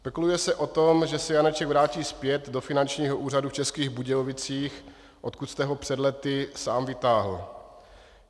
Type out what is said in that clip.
Spekuluje se o tom, že se Janeček vrátí zpět do Finančního úřadu v Českých Budějovicích, odkud jste ho před lety sám vytáhl.